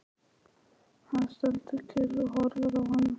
Hann stendur kyrr og horfir á hana.